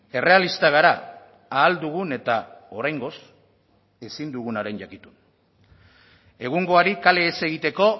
errealistak gara ahal dugun eta oraingoz ezin dugunaren jakitun egungoari kale ez egiteko